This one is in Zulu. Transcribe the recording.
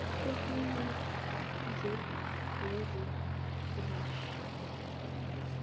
sekuyize leze washaya